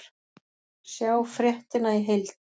Sjá fréttina í heild